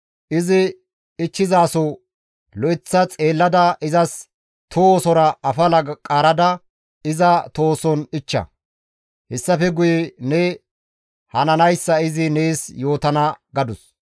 Izi ichchizaso lo7eththa xeellada izas tohosora afala qaarada iza tohoson ichcha; hessafe guye ne hananayssa izi nees yootana» gadus.